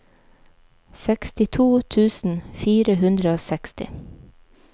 sekstito tusen fire hundre og seksti